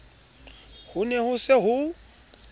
ho ne ho se ho